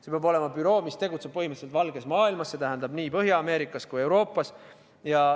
See peab olema büroo, mis tegutseb põhimõtteliselt valges maailmas, see tähendab nii Põhja-Ameerikas kui Euroopas.